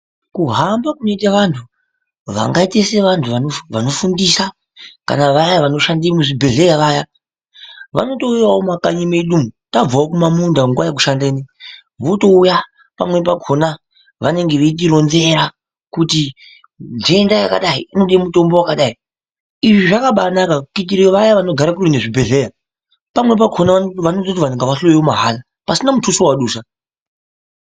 Kuhamba kunoite vanthu vangaite sevanhtu vanofundisa kana vaya vanoshanda muzvibhehlera vaya, vanotouyawo mumakanyai mwedu umwu tabvawo kumaminda munguwa yekushanda ,votouya pamweni pakona veitoronzera kuti nhenda yakadai inode mutombo wakadai kuitira vaya vanogara kuretu nezvibhehlera. Pamweni pakona vanototi vanthu ngavahloyiwe mahara pasina mutuso wevadusa.